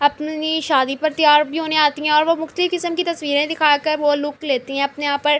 اپنی شادی پر تیار بھی ہونے آتی ہے اور وو مختلف کسم کی تشویرے دکھا کر وو لوک لیتی ہے اپنے یہاں پر--